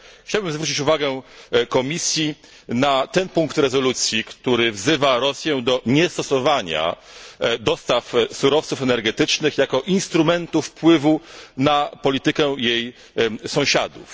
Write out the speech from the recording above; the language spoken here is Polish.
Chciałbym zwrócić uwagę Komisji na ten punkt rezolucji, który wzywa Rosję do niestosowania dostaw surowców energetycznych jako instrumentu wpływu na politykę jej sąsiadów.